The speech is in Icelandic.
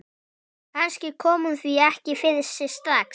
Kannski kom hún því ekki fyrir sig strax.